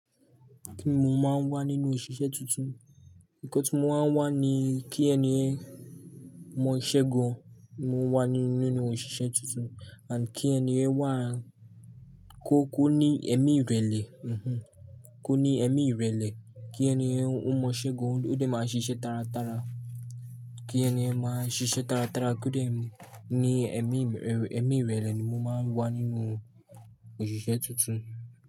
Kíni mò máa ń wà nínú òṣìṣẹ́ tuntun? Ǹkọ́ tí mò máa ń wà ni kí ènìyàn mọ ìṣẹ́ gan, mò ń wà ní nínú òṣìṣẹ́ tuntun and kí ènìyàn kó ní ẹ̀mí ìrẹ̀lẹ̀. Kó ní ẹ̀mí ìrẹ̀lẹ̀, kí ènìyàn ó mọ ìṣẹ́ gan, kó dè máa ṣiṣẹ́ tàràtàrà. Kí ènìyàn máa ṣiṣẹ́ tàràtàrà, kí ó dè ní ẹ̀mí, ẹ̀mí ìrẹ̀lẹ̀ ni mò máa ń wà nínú òṣìṣẹ́ tuntun.